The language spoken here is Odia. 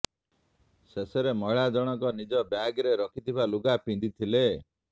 ଶେଷରେ ମହିଳା ଜଣଙ୍କ ନିଜ ବ୍ୟାଗ୍ରେ ରଖିଥିବା ଲୁଗା ପିନ୍ଧି ଥିଲେ